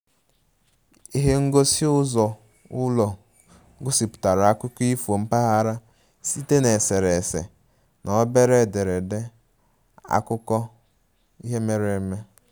Ihe ngosi uzo ulo gosipụtara akụkọ ifo mpaghara site na eserese na obere ederede akụkọ ihe mere eme